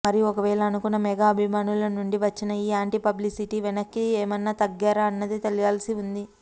మరి ఒకవేళ అనుకున్నా మెగా అభిమానులనుండి వచ్చిన ఈ యాంటి పబ్లిసిటీకి వెనక్కి ఏమన్నా తగ్గారా అన్నది తెలియాల్సి ఉంది